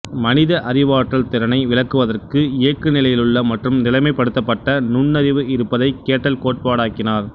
மனித அறிவாற்றல் திறனை விளக்குவதற்கு இயங்குநிலையிலுள்ள மற்றும் நிலைப்படுத்தப்பட்ட நுண்ணறிவு இருப்பதை கேட்டல் கோட்பாடாக்கினார்